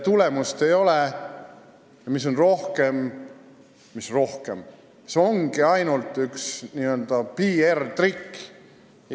Tulemust ei ole, kõik on rohkem – mis rohkem, see ongi ainult!